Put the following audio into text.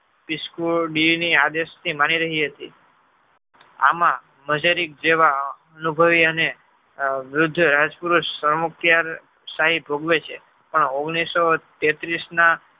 disco d ની આજે સુધી માની રહી હતી. આમાં અજેરીત જેવા અનુભવી અને વૃદ્ધ રાજપુરૂષ સૌરમુક્તિ શાહી ભોગવે છે પણ ઓગણીસો તેત્રીસ ના